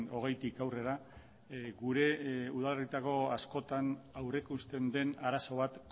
hogeitik aurrera gure udaletako askotan aurrikusten den arazo bat